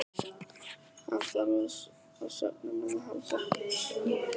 Hann þarf á svefninum að halda.